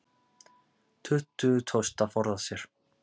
Tuttugu tókst að forða sér